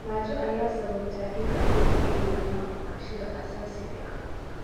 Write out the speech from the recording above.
Gaajo ayaa sababta in caruurtu ay waayaan waxbarashada aasaasiga ah.